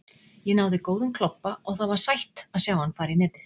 Ég náði góðum klobba og það var sætt að sjá hann fara í netið.